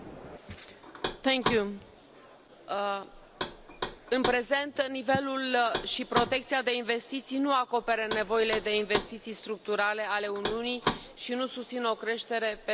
Doamnă președintă, în prezent nivelul și protecția de investiții nu acoperă nevoile de investiții structurale ale Uniunii și nu susțin o creștere pe termen lung.